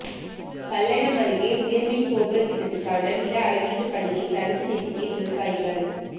பல்லடம் அருகே உயா்மின் கோபுர திட்டத்துக்கான நில அளவீட்டு பணியை தடுத்து நிறுத்திய விவசாயிகள்